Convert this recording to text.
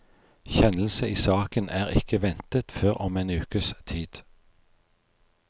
Kjennelse i saken er ikke ventet før om en ukes tid.